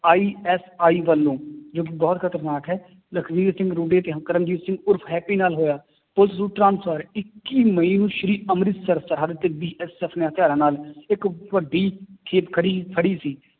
ISI ਵੱਲੋਂ ਜੋ ਕਿ ਬਹੁਤ ਖ਼ਤਰਨਾਕ ਹੈ, ਲਖਵੀਰ ਕਰਮਜੀਤ ਸਿੰਘ ਉਰਫ਼ ਹੈਪੀ ਨਾਲ ਹੋਇਆ ਇੱਕੀ ਮਈ ਨੂੰ ਸ੍ਰੀ ਅੰਮ੍ਰਿਤਸਰ ਸਾਹਿਬ ਤੇ BSF ਨੇ ਹਥਿਆਰਾਂ ਨਾਲ ਇੱਕ ਵੱਡੀ ਖੜੀ ਫੜੀ ਸੀ